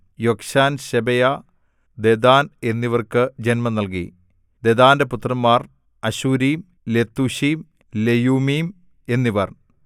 യൊക്ശാൻ ശെബയാ ദെദാൻ എന്നിവർക്കു ജന്മം നൽകി ദെദാന്റെ പുത്രന്മാർ അശ്ശൂരീം ലെത്തൂശീം ലെയുമ്മീം എന്നിവർ